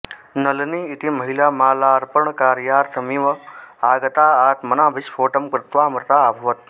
नळिनी इति महिला मालार्पणकार्यार्थमिव आगता आत्मनः विस्फोटं कृत्वा मृता अभवत्